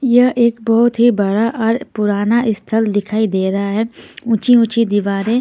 यह एक बहुत ही बड़ा और पुराना स्थल दिखाई दे रहा है ऊंची-ऊंची दीवारें--